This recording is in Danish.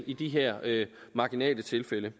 i de her marginale tilfælde